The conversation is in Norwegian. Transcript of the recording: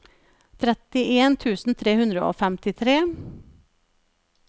trettien tusen tre hundre og femtitre